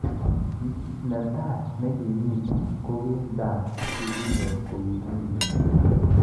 Netai nekimitei kokii Ndanu, nekikinyor koimi metit